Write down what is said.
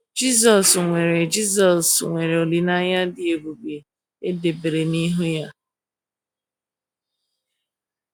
Jisọs nwere Jisọs nwere olileanya dị ebube e debere n’ihu ya